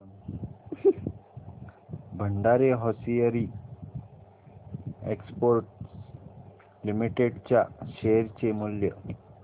Bhandari hosiery exports limited च्या share चे मूल्य